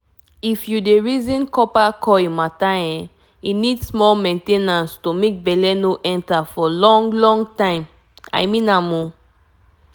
to put coile need small main ten ance for family planning wey no get wahala.i mean am small pause